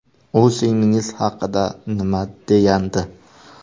U singlingiz haqida nima degandi?